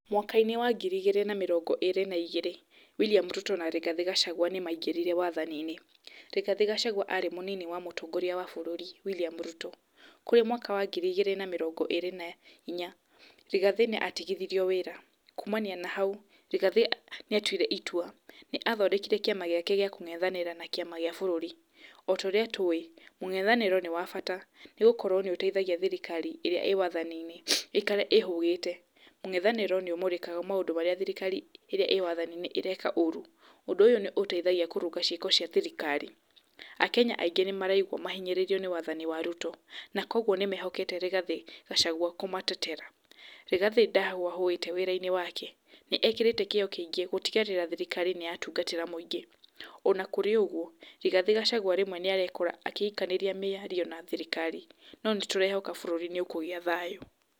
Mwaka-inĩ wa ngiri igĩrĩ na mĩrongo ĩrĩ na igĩrĩ, William Ruto na Rigathĩ Gachagua nĩmaingĩrire wathani-inĩ, Rigathĩ Gachagua arĩ mũnini wa mũtongoria wa bũrũri William Ruto, kũrĩ mwaka wa ngiri na mĩrongo ĩrĩ na inya, Rigathĩ nĩ atigithirio wĩra, kuumania na hau, Rigathĩ nĩ atuire itua, nĩ athondekire kĩama gĩake gĩa kũng'ethanĩra na kĩama gĩa bũrũri, ota ũrĩa tũĩ, mũng'ethanĩro nĩ wa bata nĩgũkorwo nĩ ũteithagia thirikari ĩrĩa ĩ wathaniinĩ, ĩikare ĩhũgĩte, mũng'ethanĩro nĩ ũmũrĩkaga maũndũ marĩa thirikari ĩrĩa ĩ wathathi-inĩ ĩreka ũru, ũndũ ũyũ nĩ ũteithagia kũrũnga ciĩko cia thirikari, akenya aingĩ nĩ maraigwa mahinyĩrĩirio nĩ wathani wa Ruto, na koguo nĩ mehokete Rigathĩ Gachagua kũmatetera. Rĩgathĩ ndahũahũĩte wĩra-inĩ wake, nĩ ekĩrĩte kĩo kĩingĩ gũtigĩrĩra thirikari nĩ yatungatĩra mũingĩ, ona kũrĩ ũguo Rigathĩ Gachagua rĩmwe nĩ arekora agĩikanĩria mĩario na thirikari no, nĩ tũrehoka bũrũri nĩ ũkũgĩa thayũ.